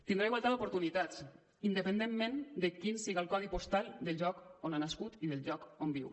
tindrà igualtat d’oportunitats independentment de quin sigui el codi postal del lloc on ha nascut i del lloc on viu